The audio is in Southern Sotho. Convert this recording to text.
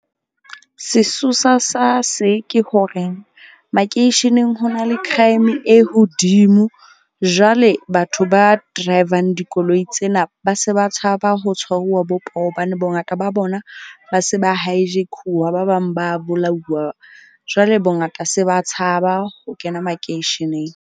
Sesosa sa se ke hore makeisheneng ho na le crime e hodimo. Jwale batho ba drivang dikoloi tsena ba se ba tshaba ho tshwaruwa bo poho. Hobane bongata ba bona ba se ba hijack-uwa. Ba bang ba bolauwa jwale bongata se ba tshaba ho kena makeisheneng.